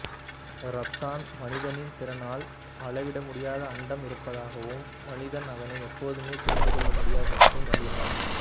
Raphson மனிதனின் திறனால் அளவிடமுடியாது அண்டம் இருப்பதாகவும் மனிதன் அதனை எப்போதுமே புரிந்துகொள்ள முடியாது என்றும் நம்பினார்